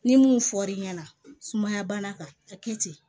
Ni mun fɔr'i ɲɛna sumaya bana kan ka kɛ ten